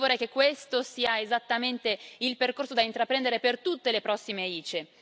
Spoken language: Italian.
Io vorrei che questo sia esattamente il percorso da intraprendere per tutte le prossime ICE.